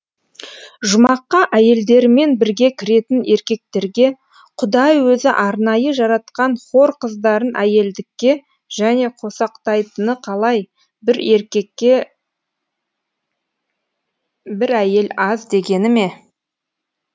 жұмаққа әйелдерімен бірге кіретін еркектерге құдай өзі арнайы жаратқан хор қыздарын әйелдікке және қосақтайтыны қалай бір еркекке бір әйел аз дегені ме